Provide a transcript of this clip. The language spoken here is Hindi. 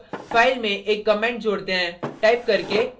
add file में एक comment जोड़ते हैं टाइप करके